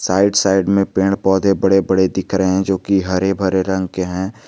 Side side में पेड़ पौधे बड़े बड़े दिख रहे हैं जो कि हरे भरे रंग के हैं।